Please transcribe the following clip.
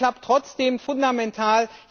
Das klappt trotzdem fundamental.